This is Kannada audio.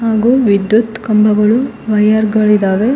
ಹಾಗೂ ವಿದ್ಯುತ್ ಕಂಬಗಳು ವೈರ್ ಗಳಿದ್ದಾವೆ.